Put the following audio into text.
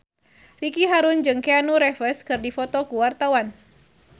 Ricky Harun jeung Keanu Reeves keur dipoto ku wartawan